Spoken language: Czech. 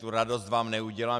Tu radost vám neudělám.